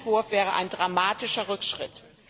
Dieser Entwurf wäre ein dramatischer Rückschritt.